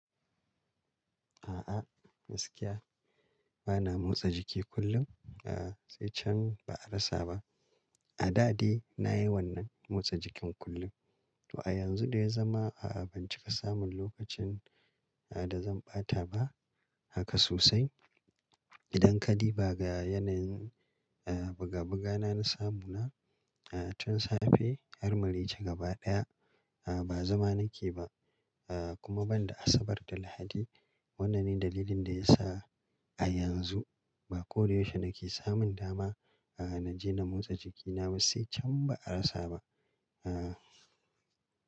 A'a gaskiya bana motsa jiki kullum. A'a sai can ba'a rasa ba. A da dai nayi wannan motsa jikin kullum to a yanzu da ya zama a'a ban cika samun lokacin a da zan ɓata ba haka sosai. Idan kadi ba ga yanayin a buga buga na na samu na a tun safe har mareyci gaba ɗaya a ba zama nake ba a kuma ban da Asabar da Lahadi. Wannan ne dalilin da ya sa a yanzu ba ko da yaushe nake samun dama a naje na motsa jikina ba sai can ba'a rasa ba. A.